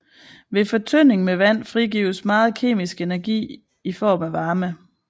Ved fortynding med vand frigives meget kemisk energi i form af varme